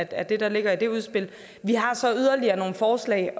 af det der ligger i det udspil vi har så yderligere nogle forslag